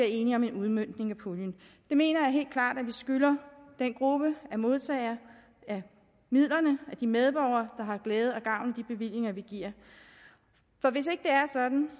enige om en udmøntning af puljen det mener jeg helt klart at vi skylder den gruppe af modtagere af midlerne de medborgere der har glæde og gavn af de bevillinger vi giver for hvis ikke det er sådan